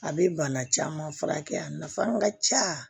A bɛ bana caman furakɛ a nafa ka ca